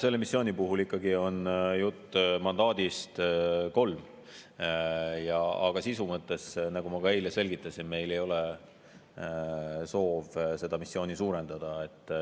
Selle missiooni puhul on jutt mandaadist kolmele, aga sisu mõttes, nagu ma ka eile selgitasin, ei ole meil soovi seda missiooni suurendada.